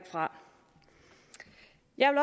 jeg